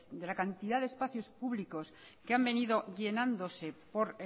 de la cantidad de espacios públicos que han venido llenándose por